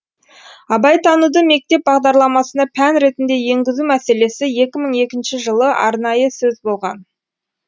абайтануды мектеп бағдарламасына пән ретінде енгізу мәселесі екі мың екінші жылы арнайы сөз болған